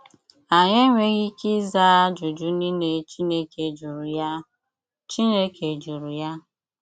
Anyị enweghị ike ịza ajụjụ niile Chineke jụrụ ya. Chineke jụrụ ya.